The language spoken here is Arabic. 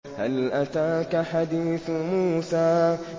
هَلْ أَتَاكَ حَدِيثُ مُوسَىٰ